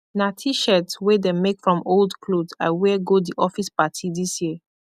na tshirt wey dem make from old kloth i wear go di office parti dis year